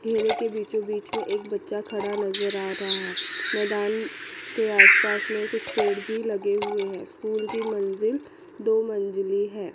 घेरे के बीचो बीच में एक बच्चा खड़ा नजर आ रहा है मैदान के आस पास में कुछ पेड़ भी लगे हुए हैं स्कूल की मंजिल दो मंजिल है।